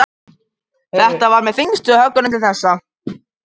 Þetta var með þyngstu höggunum til þessa.